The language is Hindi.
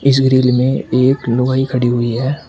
इस ग्रिल में एक लुगाई खड़ी हुई है।